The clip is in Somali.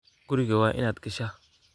Guriga waa inaad gashaa